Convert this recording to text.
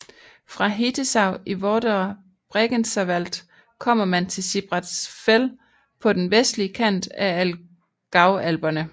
Fra Hittisau i Vorderer Bregenzerwald kommer man til Sibratsgfäll på den vestlige kant af Allgäu Alperne